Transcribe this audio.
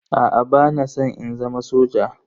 Aa bana san in zama soja.